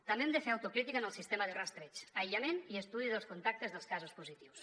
també hem de fer autocrítica en el sistema de rastreig aïllament i estudi dels contactes dels casos positius